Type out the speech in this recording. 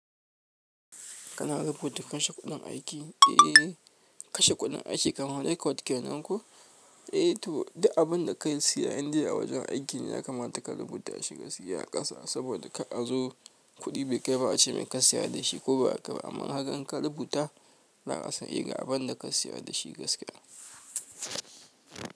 Kana rubuta kashe kuɗin aiki? Eh kashe kuɗin aiki kamar record kenan ko? Eh to duk abin da ka siya inda a wajen aiki ne ya kamata ka rubuta shi gaskiya a ƙasa saboda ka a zo kuɗi bai kai ba a ce mai ka siya da shi ko ba haka ba. Aman haka in ka rubuta za a san eh ga abin da ka siya da shi gaskiya.